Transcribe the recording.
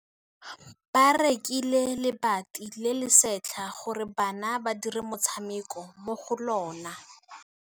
Ba rekile lebati le le setlha gore bana ba dire motshameko mo go lona.